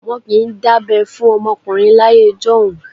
Wọ́n kì í dábẹ́ fún ọmọkùnrin láyé ọjọ́un.